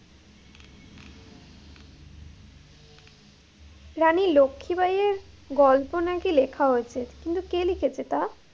রানী লক্ষি বাইয়ের গল্প নাকি লেখা হয়েছে, কিন্তু কে লিখেছে তা?